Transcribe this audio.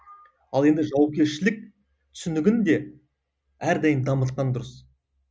ал енді жауапкершілік түсінігін де әрдайым дамытқан дұрыс